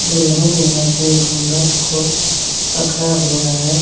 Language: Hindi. दुल्हन ने अपनी घूंघट को पकड़ा हुआ है।